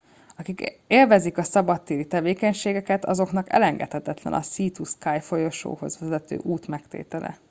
akik élvezik a szabadtéri tevékenységeket azoknak elengedhetetlen a sea to sky folyosóhoz vezető út megtétele